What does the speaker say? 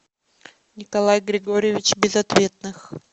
николай григорьевич безответных